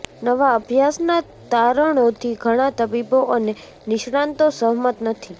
નવા અભ્યાસના તારણોથી ઘણા તબીબો અને નિષ્ણાંતો સહમત નથી